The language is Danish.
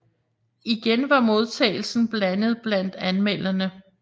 Igen var modtagelsen blandet blandt anmelderne